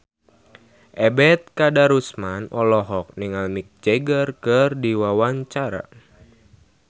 Ebet Kadarusman olohok ningali Mick Jagger keur diwawancara